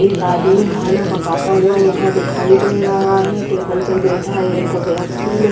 एक आदमी खाना पकाता हुआ यहाँ दिखाई दे रहा है हाँ टेबल पर बीता एक व्यक्ति ने --